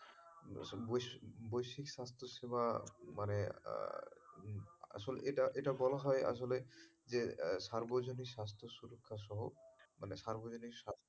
বৈ~বৈশিক স্বাস্থ্য সেবা মানে আহ আসলে এটা এটা বলা হয় আসলে যে সার্বজনি স্বাস্থ্য সুরক্ষা সহ মানে মানে সার্বজনিন স্বাস্থ্য,